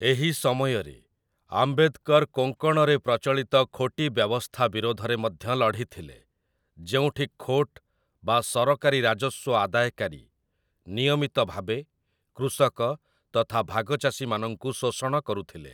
ଏହି ସମୟରେ, ଆମ୍ବେଦକର କୋଙ୍କଣରେ ପ୍ରଚଳିତ ଖୋଟି ବ୍ୟବସ୍ଥା ବିରୋଧରେ ମଧ୍ୟ ଲଢ଼ିଥିଲେ, ଯେଉଁଠି ଖୋଟ୍ ବା ସରକାରୀ ରାଜସ୍ୱ ଆଦାୟକାରୀ, ନିୟମିତ ଭାବେ କୃଷକ ତଥା ଭାଗଚାଷୀମାନଙ୍କୁ ଶୋଷଣ କରୁଥିଲେ ।